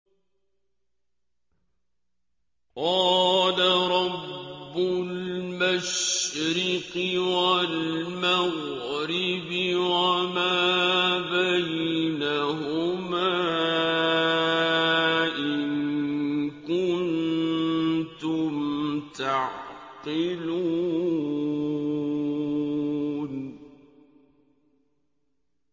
قَالَ رَبُّ الْمَشْرِقِ وَالْمَغْرِبِ وَمَا بَيْنَهُمَا ۖ إِن كُنتُمْ تَعْقِلُونَ